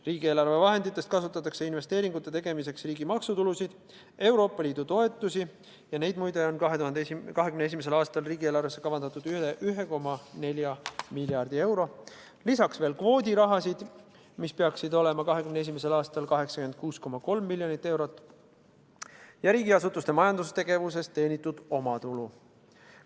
Riigieelarve vahenditest kasutatakse investeeringute tegemiseks riigi maksutulusid, Euroopa Liidu toetusi – neid muide on 2021. aastal riigieelarvesse kavandatud üle 1,4 miljardi euro –, lisaks veel kvoodirahasid, mida peaks 2021. aastal olema 86,3 miljonit eurot, ja riigiasutuste majandustegevusest teenitud omatulu.